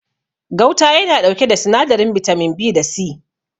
Gauta ya na ɗauke da sinadarin bitamin B da C